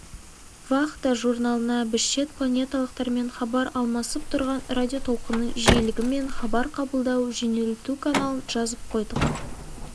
вахта журналына біз шет планеталықтармен хабар алмасып тұрған радиотолқынның жиілігі мен хабар қабылдау-жөнелту каналын жазып қойдық